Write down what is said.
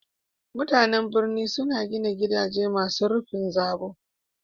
Mutanan birni suna gina gidaje masu rufin zabo.